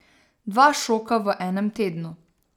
Dva šoka v enem tednu.